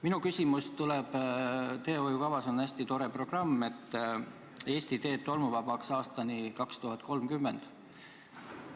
Minu küsimus tuleb selle kohta, et teehoiukavas on hästi tore programm "Eesti teed tolmuvabaks aastani 2030".